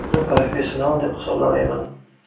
Uni professional deb hisoblamayman.